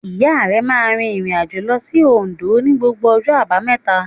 Ìya rẹ̀ máa n rìn ìrìnàjò lo sí Ondó ní gbogbo ọjọ́ àbámẹ̀ta